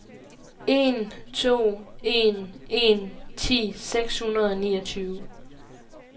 en to en en ti seks hundrede og niogtyve